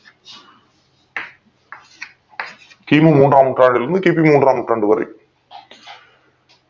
கி. மு மூண்றாம் நூற்றாண்டிலிருந்து கி. பி மூண்றாம் நூற்றாண்டு வரை